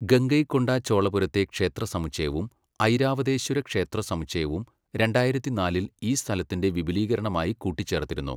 ഗംഗൈകൊണ്ട ചോളപുരത്തെ ക്ഷേത്ര സമുച്ചയവും ഐരാവതേശ്വര ക്ഷേത്ര സമുച്ചയവും രണ്ടായിരത്തിനാലിൽ ഈ സ്ഥലത്തിൻ്റെ വിപുലീകരണമായി കൂട്ടിച്ചേർത്തിരുന്നു.